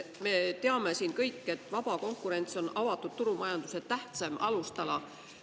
Me teame kõik, et vaba konkurents on avatud turumajanduse tähtsaim alustala.